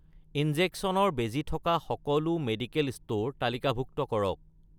ইনজেকচনৰ বেজী থকা সকলো মেডিকেল ষ্ট'ৰ তালিকাভুক্ত কৰক